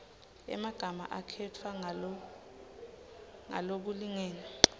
emagama akhetfwe ngalokulingene